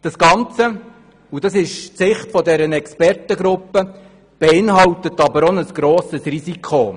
Das Ganze – das ist die Sicht dieser Expertengruppe – beinhaltet aber auch ein grosses Risiko.